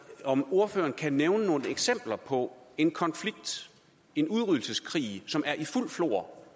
om ordføreren kan nævne nogle eksempler på en konflikt en udryddelseskrig som er i fuldt flor